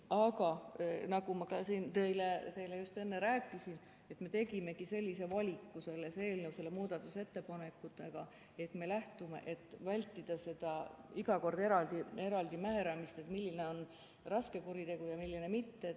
Aga nagu ma siin teile just enne rääkisin, siis me tegimegi sellise valiku selles eelnõus nende muudatusettepanekutega, et vältida iga kord eraldi määramist, milline on raske kuritegu ja milline mitte.